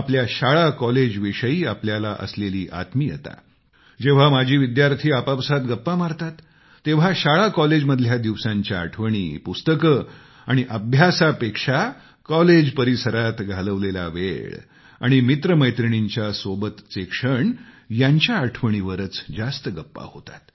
आपल्या शाळाकॉलेजविषयी आपल्याला असलेली आत्मीयता जेव्हा माजी विद्यार्थी आपापसांत गप्पा मारतात तेव्हा शाळाकॉलेजमधल्या दिवसांच्या आठवणी पुस्तकं आणि अभ्यासापेक्षा कॉलेज परिसरात घालवलेला वेळ आणि मित्रमैत्रिणींना सोबतचे क्षण यांच्या आठवणीं वरच जास्त गप्पा होतात